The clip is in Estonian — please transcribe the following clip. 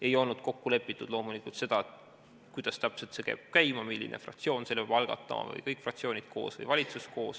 Ei olnud kokku lepitud loomulikult seda, kuidas täpselt see peab käima ja milline fraktsioon selle peab algatama või kas seda peavad tegema kõik fraktsioonid koos või koos valitsusega.